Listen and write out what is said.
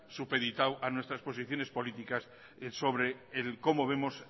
supeditado a nuestras posiciones políticas sobre el cómo vemos